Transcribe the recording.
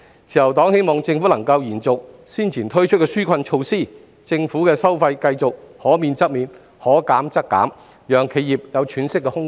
自由黨希望政府能夠延續早前推出的紓困措施，政府的收費繼續可免則免、可減則減，讓企業有喘息的空間。